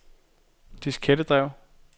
diskettedrev